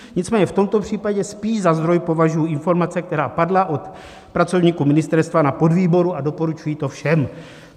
Nicméně v tomto případě spíš za zdroj považuji informace, které padly od pracovníků ministerstva na podvýboru, a doporučuji to všem.